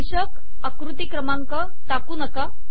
शीर्षक आकृती क्रमांक टाकू नका